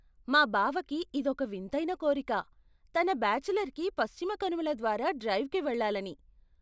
మా బావకి ఇదొక వింతైన కోరిక, తన బాచిలర్కి పశ్చిమ కనుమల ద్వారా డ్రైవ్కి వెళ్లాలని.